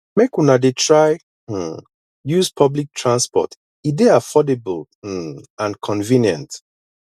make una dey try um use public transport e dey affordable um and convenient